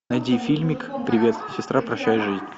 найди фильмик привет сестра прощай жизнь